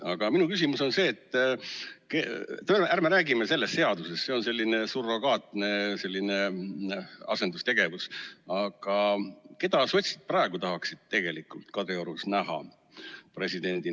Aga minu küsimus on see, et ärme räägime sellest seadusest, see on selline surrogaatne asendustegevus, vaid räägime sellest, keda sotsiaaldemokraadid praegu tahaksid tegelikult Kadriorus presidendina näha?